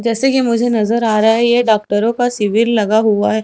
जैसे कि मुझे नजर आ रहा है ये डाक्टरों का शिविर लगा हुआ हैं।